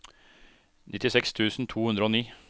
nittiseks tusen to hundre og ni